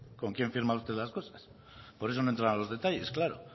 con quién firma usted las cosas por eso no entraba en los detalles claro